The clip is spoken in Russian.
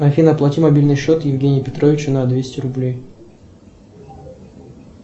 афина оплати мобильный счет евгения петровича на двести рублей